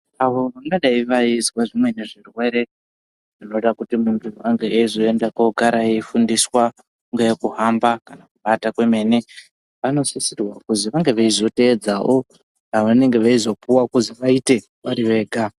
Vntu vangadai vaizwa zvimweni zvirwere zvingada kuti muntu agare eifundiswa nguwa yekuhamba nekuata kwemene vanosisirwa kuti vange veizoteedzawo zvavanenge veizopuwa kuti vaite vari vega.